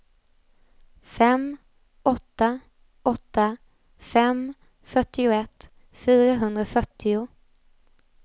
fem åtta åtta fem fyrtioett fyrahundrafyrtio